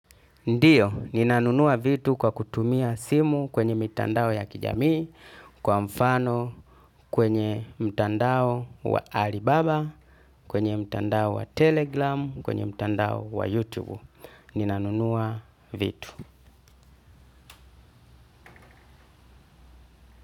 Ndiyo, ninanunua vitu kwa kutumia simu kwenye mitandao ya kijamii, kwa mfano, kwenye mtandao wa Alibaba, kwenye mtandao wa Telegram, kwenye mtandao wa Youtube. Ninanunua vitu.